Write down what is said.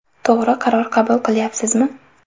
To‘g‘ri qaror qabul qilyapsizmi?